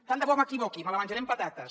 tant de bo m’equivoqui me la menjaré amb patates